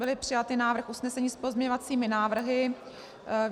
Byl přijat návrh usnesení s pozměňovacími návrhy.